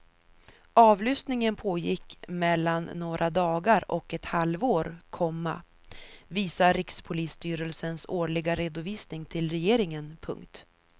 Avlyssningen pågick mellan några dagar och ett halvår, komma visar rikspolisstyrelsens årliga redovisning till regeringen. punkt